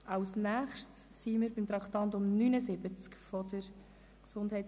Wir kommen als Nächstes zum Traktandum 79 der GEF;